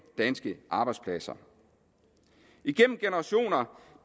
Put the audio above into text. danske arbejdspladser igennem generationer